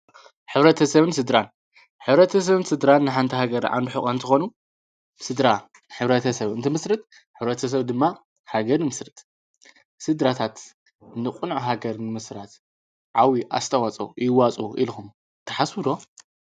ኅብረተ ሰብን ሥድራን ኅብረተ ሰብን ሥድራን ንሓንታ ሃገር ኣንብሕቛ እንቲኾኑ ሥድራ ኅብረተ ሰብ እንትምሥርጥ ኅብረተ ሰብ ድማ ሃገር ምስርጥ ሥድራታት ንቕኑዕ ሃገር ንምሥራት ዓዊ ኣስተዋጾ ይዋጾ ኢልኹም ተሓስብሎ።